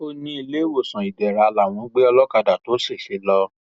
ó ní iléewòsàn ìdẹra làwọn gbé olókàdá tó ṣẹṣẹ lọ